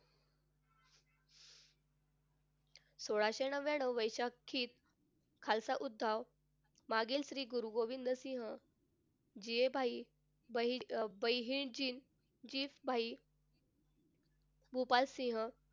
सोळाशे नव्याण्णव वैशाखीत खालसा उत्ताव मागील श्री गुरु गोविंदसिंह हे भाई गोपालसिंह,